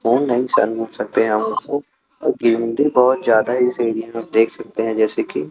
नोंग ढंग से सकते हैं और उसको क्योंकी अंदर बहोत ज्यादा ही देख सकते हैं जैसे की--